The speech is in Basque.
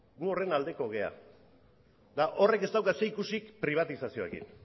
gu horren aldekoak gara eta horrek ez dauka zerikusirik pribatizazioarekin